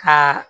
Ka